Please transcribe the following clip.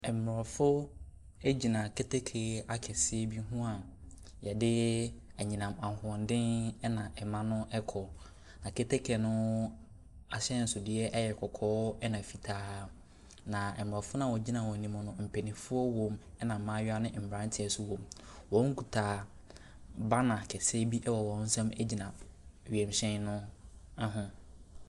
Aborɔfo gyina keteke akɛseɛ bi ho a wɔde anyinam ahoɔden na ɛma no kɔ. Aketeke no ahyɛnsodeɛ yɛ kɔkɔɔ na fitaa, na aborɔfo no a wɔgyina wɔn anim no, mpanimfoɔ won, ɛnna mmayewa ne mmeranteɛ nso wom. Wɔkita banner kɛseɛ bi wɔ wɔn nsam gyina wiemhyɛn ho.